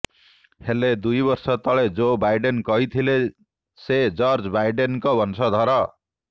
ହେଲେ ଦୁଇବର୍ଷ ତଳେ ଜୋ ବାଇଡେନ କହିଥିଲେ ସେ ଜର୍ଜ ବାଇଡେନଙ୍କ ବଂଶଧର